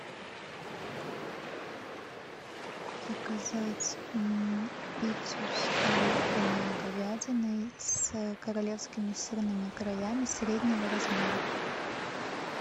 заказать пиццу с оливками и говядиной с королевскими сырными краями среднего размера